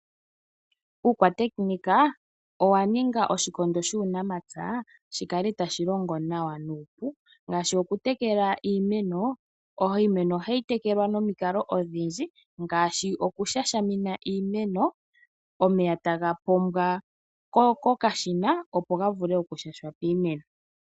Ehumokomeho olya ninga oshikondo shuunamapya shi kale tashi longo nawa nuupu. Ngaashi okutekela iimeno hayi tekelwa momikalo odhindji ngaashi okushashamina iimeno omeya taga pombwa kokashina opo ga vule kushasha piimeno